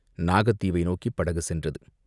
நாகத்தீவை நோக்கிப் படகு சென்றது.